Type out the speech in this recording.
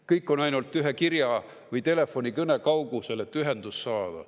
Kõik on ainult ühe kirja või telefonikõne kaugusel, et ühendust saada.